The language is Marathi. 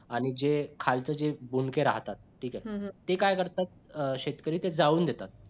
आणि जे खायचे जे बुंदके राहतात ठीक आहे ते काय करतात शेतकरी ते जाळून देतात